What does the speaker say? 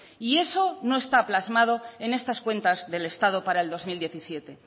y eso no está plasmado en estas cuentas del estado para el dos mil diecisiete